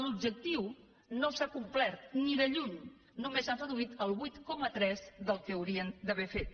l’objectiu no s’ha complert ni de lluny només han reduït el vuit coma tres del que haurien d’haver fet